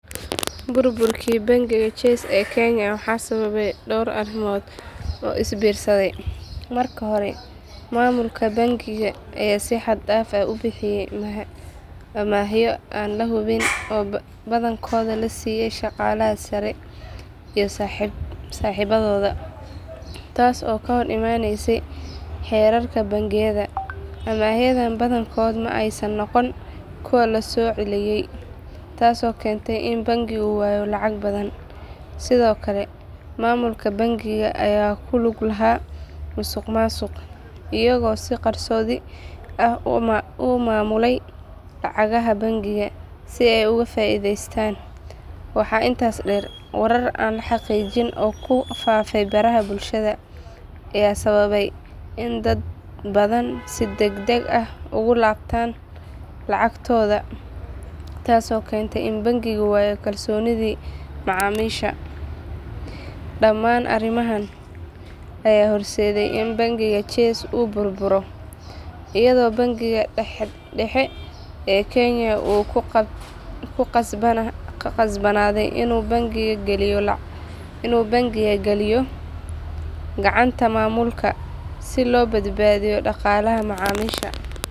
Burburkii bangiga Chase ee Kenya waxaa sababay dhowr arrimood oo is biirsaday. Marka hore, maamulka bangiga ayaa si xad-dhaaf ah u bixiyay amaahyo aan la hubin oo badankood la siiyay shaqaalaha sare iyo saaxiibadooda, taas oo ka hor imaanaysay xeerarka bangiyada. Amaahyadan badankood ma aysan noqon kuwo la soo celiyay, taasoo keentay in bangigu waayo lacag badan. Sidoo kale, maamulka bangiga ayaa ku lug lahaa musuqmaasuq, iyagoo si qarsoodi ah u maamulayay lacagaha bangiga si ay uga faa’iidaystaan. Waxaa intaas dheer, warar aan la xaqiijin oo ku faafay baraha bulshada ayaa sababay in dad badan si degdeg ah uga laabtaan lacagahooda, taasoo keentay in bangigu waayo kalsoonidii macaamiisha. Dhammaan arrimahan ayaa horseeday in bangiga Chase uu burburo, iyadoo Bangiga Dhexe ee Kenya uu ku qasbanaaday inuu bangiga geliyo gacanta maamulka si loo badbaadiyo dhaqaalaha macaamiisha.